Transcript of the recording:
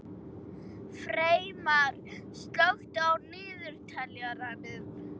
Freymar, slökktu á niðurteljaranum.